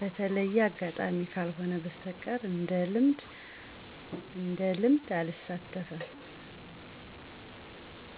በተለየ አጋጣሚ ካልሆነ በስተቀር እንደልምድ አልሳተፍም።